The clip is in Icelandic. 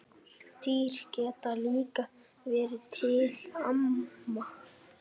Dýr geta líka verið til ama